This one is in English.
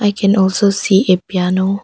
I can also see a piano.